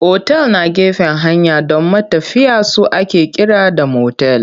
Otal na gefen hanya don matafiya su ake kira da motel.